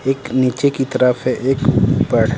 एक नीचे की तरफ है एक ऊपर--